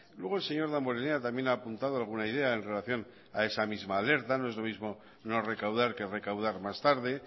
luego el señor damborenea también ha apuntado alguna idea en relación a esa misma alerta no es lo mismo no recaudar que recaudar más tarde